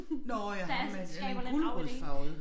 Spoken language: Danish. Nåh øh ham øh den gulerodsfarvede